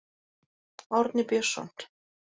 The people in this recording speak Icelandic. Árni Björnsson.